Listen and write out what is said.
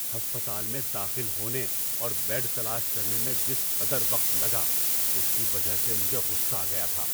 ہسپتال میں داخل ہونے اور بیڈ تلاش کرنے میں جس قدر وقت لگا، اس کی وجہ سے مجھے غصہ آ گیا تھا۔